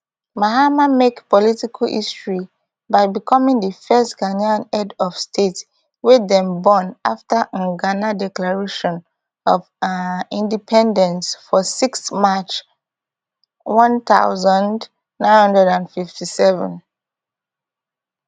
mahama make political history by becoming di first ghanaian head of state wey dem born afta um ghana declaration of um independence for sixth march one thousand, nine hundred and fifty-seven